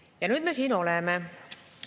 " Ja nüüd me siin oleme.